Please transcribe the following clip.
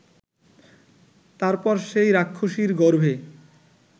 তার পর সেই রাক্ষসীর গর্ভে